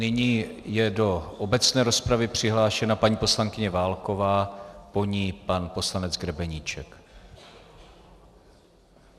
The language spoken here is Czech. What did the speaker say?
Nyní je do obecné rozpravy přihlášena paní poslankyně Válková, po ní pan poslanec Grebeníček.